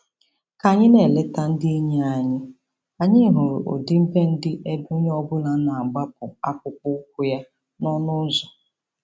Ka anyị na-eleta ndị enyi anyị, anyị hụrụ ọdịbendị ebe onye ọbụla na-agbapụ akpụkpọ ụkwụ ya n'ọnụ ụzọ.